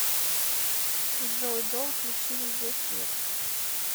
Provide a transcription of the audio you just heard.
джой дом включи везде свет